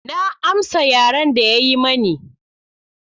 Na amsa yaren da ya yi mani.